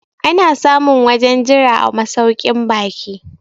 ana samun wajen Jira a masaukin baki